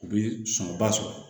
U bi sɔngɔ ba sɔrɔ